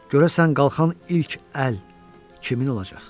Görəsən qalxan ilk əl kimin olacaq?